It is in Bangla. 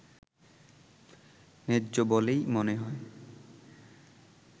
ন্যায্য বলেই মনে হয়